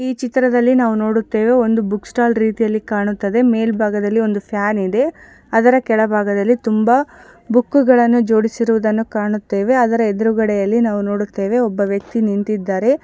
ಈ ಚಿತ್ರದಲ್ಲಿ ನಾವು ನೋಡುತ್ತುವೆ ಒಂದು ಬುಕ್ ಸ್ಟಾಲ್ ರೀತಿಯಲ್ಲಿ ಕಾಣುತ್ತಿದೆ ಮೇಲ್ಭಾಗದಲ್ಲಿ ಒಂದು ಫ್ಯಾನಿದೆ ಅದರ ಕೆಳಭಾಗದಲ್ಲಿ ತುಂಬ ಬುಕ್ಕುಗಳನ್ನು ಜೋಡಿಸುವುದನ್ನು ಕಾಣುತ್ತೆವೆ ಅದರ ಎದುರುಗಡೆಯಲ್ಲಿ ನಾವು ನೋಡುತ್ತೇವೆ ಒಬ್ಬ ವ್ಯಕ್ತಿ ನಿಂತಿದಾರೆ .